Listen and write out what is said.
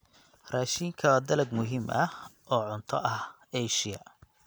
Raashinka waa dalag muhiim ah oo cunto ah Asia.